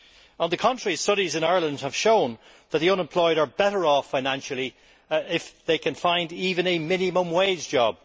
However, studies in Ireland have shown that the unemployed are better off financially if they can find even a minimum wage job.